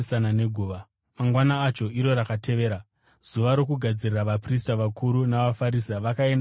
Mangwana acho, iro rakatevera Zuva roKugadzirira, vaprista vakuru navaFarisi vakaenda kuna Pirato.